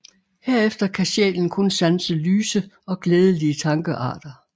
Herefter kan sjælen kun sanse lyse og glædelige tankearter